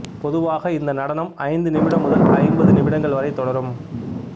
பொதுவாக இந்த நடனம் ஐந்து நிமிடம் முதல் ஐம்பது நிமிடங்கள் வரை தொடரும்